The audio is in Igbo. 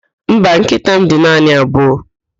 Mba, nkịta m dị naanị abụọ